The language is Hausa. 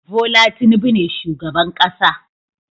Bola Tinubu ne shugaban ƙasa